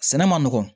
Sɛnɛ man nɔgɔn